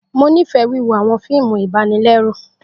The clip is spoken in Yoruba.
Mo nifẹ wiwo awọn fiimu ibanilẹru.